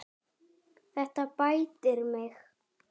Þetta bætir mig.